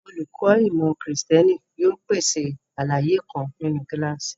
Olùkọ́ ìmọ̀ Kristẹni yóò pèsè àlàyé kan nínú kíláàsì.